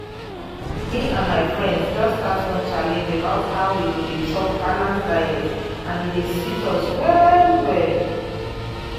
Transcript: me and my friends just start one challenge about how we go dey chop balanced diet and e dey sweet us well well.